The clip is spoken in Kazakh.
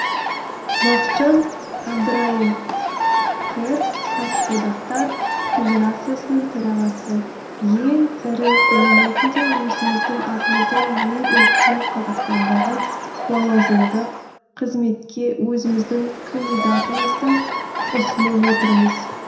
бақытжан әбдірайым қр кәсіподақтар федерациясының төрағасы ең ірі ұйым ретінде өзіміздің атымыздан ең үлкен қазақстандағы лауазымдық қызметке өзіміздің кандидатымызды ұсынып отырмыз